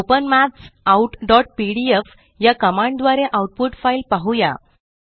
open maths out PDF या command द्वारे output file पाहुया